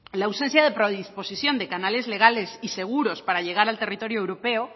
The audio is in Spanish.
la ausencia de predisposición de canales legales y seguros para llegar al territorio europeo